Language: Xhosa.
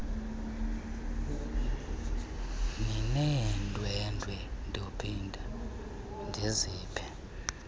nineendwendwe ndophinda ndiziphe